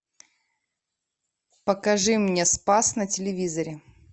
покажи мне спас на телевизоре